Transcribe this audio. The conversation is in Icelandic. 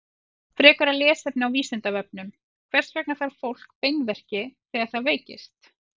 Frekara lesefni á Vísindavefnum: Hvers vegna fær fólk beinverki þegar það veikist?